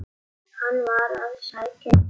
Hann var að sækja ljá.